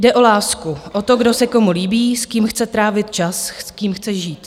Jde o lásku, o to, kdo se komu líbí, s kým chce trávit čas, s kým chce žít.